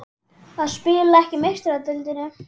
Að spila ekki í Meistaradeildinni?